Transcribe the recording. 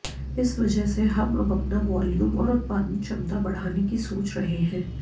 इस वजह से हम अब अपना वॉल्यूम और उत्पादन क्षमता बढ़ाने की सोच रहे हैं